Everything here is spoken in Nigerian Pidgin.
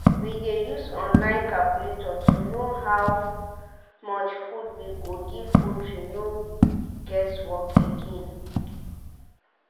we dey use online calculator to know how much food we go give poultry no guess work again.